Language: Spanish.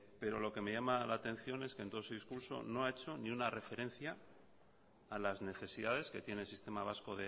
pero lo que me llama la atención es que en todo su discurso no ha hecho ni una referencia a las necesidades que tiene el sistema vasco